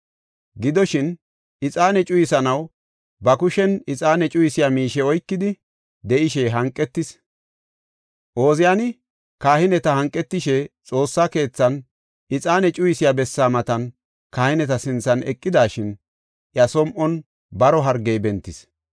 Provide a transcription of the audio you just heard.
Gidoshin, ixaane cuyisanaw ba kushen ixaane cuyisiya miishe oykidi de7ishe hanqetis. Ooziyani kahineta hanqetishe Xoossa keethan ixaane cuyisiya bessaa matan kahineta sinthan eqidashin, iya som7on baro hargey bentis.